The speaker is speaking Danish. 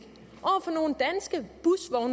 over